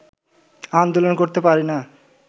আন্দোলন করতে পারিনা